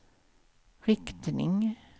riktning